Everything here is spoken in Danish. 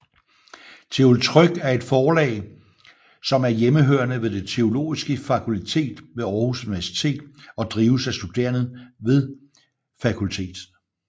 Teoltryk er et forlag som er hjemhørende ved Det Teologiske Fakultet ved Aarhus Universitet og drives af studerende ved fakultetet